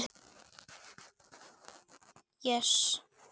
dæmi: Ég les.